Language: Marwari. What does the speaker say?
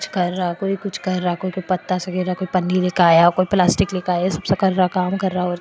कुछ कर रहा कोई कुछ कर रहा है कोई कोई पत्ता सा गैर कोई पन्नी सा काया ऊपर प्लास्टिक --